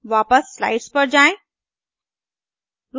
वापस स्लाइड्स पर आएँ